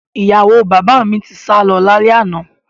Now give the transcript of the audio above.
Ìyàwó bàbá mi ti sálọ lálẹ́ àná